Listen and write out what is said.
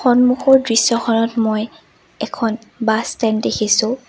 সন্মুখৰ দৃশ্যখনত মই এখন বাছ ষ্টেণ্ড দেখিছোঁ।